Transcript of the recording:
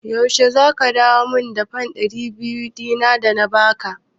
Yaushe za ka dawo min da fan ɗari biyar ɗin da na ba ka?